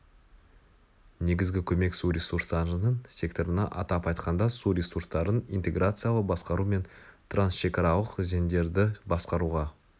негізгі көмек су ресурстарының секторына атап айтқанда су ресурстарын интеграциялы басқару мен трансшекаралық өзендерді басқаруға